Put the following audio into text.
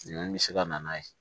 Nɛni bɛ se ka na n'a ye